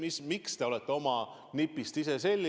Aga miks te olete oma nipist ise selili?